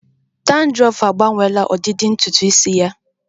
Dandruff agbanweela ọdịdị ntutu isi ya